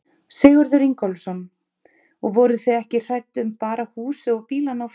Sigurður Ingólfsson: Og voruð þið ekki hrædd um bara húsið og bílana og fleira?